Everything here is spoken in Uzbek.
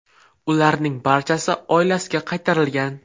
Ularning barchasi oilasiga qaytarilgan.